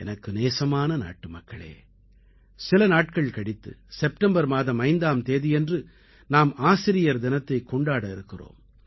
எனக்கு நேசமான நாட்டுமக்களே சில நாட்கள் கழித்து செப்டெம்பர் மாதம் 5ஆம் தேதியன்று நாம் ஆசிரியர் தினத்தைக் கொண்டாட இருக்கிறோம்